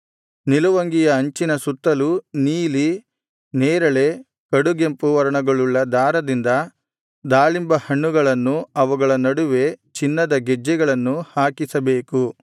ನಿಲುವಂಗಿಯ ಅಂಚಿನ ಸುತ್ತಲೂ ನೀಲಿ ನೇರಳೆ ಕಡುಗೆಂಪು ವರ್ಣಗಳುಳ್ಳ ದಾರದಿಂದ ದಾಳಿಂಬ ಹಣ್ಣುಗಳನ್ನು ಅವುಗಳ ನಡುವೆ ಚಿನ್ನದ ಗೆಜ್ಜೆಗಳನ್ನು ಹಾಕಿಸಬೇಕು